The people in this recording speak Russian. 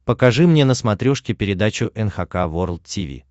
покажи мне на смотрешке передачу эн эйч кей волд ти ви